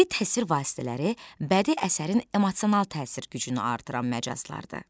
Bədii təsvir vasitələri bədii əsərin emosional təsir gücünü artıran məcazlardır.